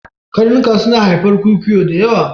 Karnuka suna haifar kwikwiyo da yawa